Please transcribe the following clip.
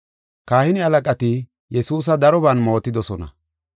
Kahine halaqati Yesuusa daroban mootidosona.